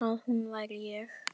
Að hún væri ég.